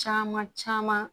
Caman caman